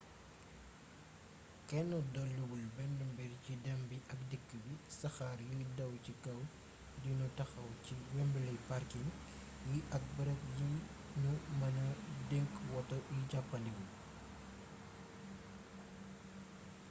kenn doliwul benn mbir ci dem bi ak dikk bi saxaar yuy daw ci kaw du nu taxaw ci wembley parking yi ak bërëb yi nu mëna denc woto yi jàppandiwul